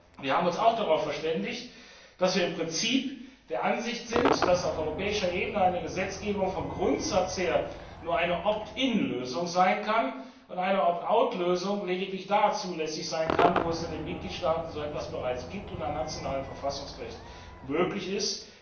Wir haben uns auch darauf verständigt, dass wir im Prinzip der Ansicht sind, dass auf europäischer Ebene eine Gesetzgebung vom Grundsatz her nur eine opt in Lösung sein kann, und eine opt out Lösung lediglich da zulässig sein kann, wo es in den Mitgliedstaaten so etwas bereits gibt und nach nationalem Verfassungsrecht möglich ist.